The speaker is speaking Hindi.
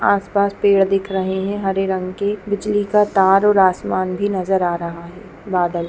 आस-पास पेड़ दिख रहे हैं हरे रंग के बिजली का तार और आसमान भी नजर आ रहा है बादल--